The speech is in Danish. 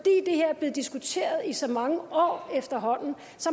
her er blevet diskuteret i så mange år efterhånden